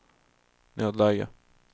nödläge